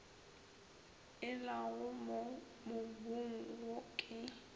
elago mo mobung wo ke